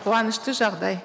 қуанышты жағдай